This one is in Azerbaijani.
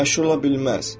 Məşhur ola bilməz.